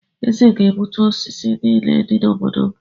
Eze ga-egbutu osisi niile dị n’obodo m.